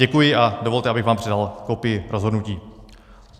Děkuji a dovolte, abych vám předal kopii rozhodnutí.